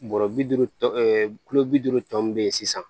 Bɔrɔ bi duuru tɔ kulo bi duuru tɔ min bɛ ye sisan